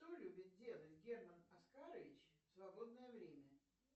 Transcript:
что любит делать герман оскарович в свободное время